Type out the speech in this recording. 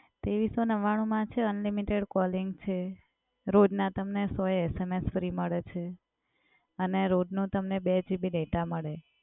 તેવિસસૌ નવ્વાણું માં છે unlimited calling છે, રોજના તમને સો SMS ફ્રી મડે છે, અને રોજનું તમને બે GB ડેટા મડે.